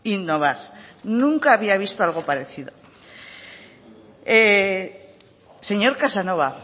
innovar nunca había visto algo parecido señor casanova